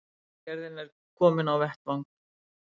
Vegagerðin er komin á vettvang